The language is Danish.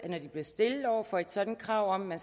når de bliver stillet over for et sådant krav om at